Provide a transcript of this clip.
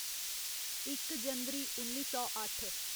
इक जनवरी उन्नी सौ अट्ठ